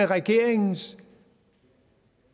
regeringens